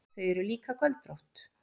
Þau eru líka göldrótt.